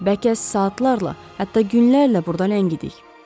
Bəlkə saatlarla, hətta günlərlə burda ləngidik.